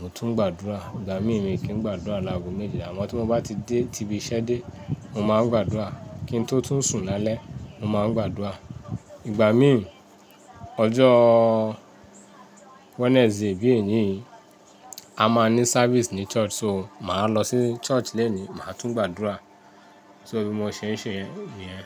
mo tún ń gbàdúrà. Ìgbà mí mi kì í gbàdúrà láago méjìlá. Àmọ́ tí mo bá ti dé ti ibi iṣẹ́ dé, mo máa ń gbàdúrà. Kí n tó tún sùn lálẹ́, mo máa ń gbàdúrà. Ìgbà mi, ọjọ́ Wednesday bí èni yi a máa ní service ní church, so màá lọ sí church léni, màá tún gbàdúrà. So bí mo ṣe ń ṣe niyẹn.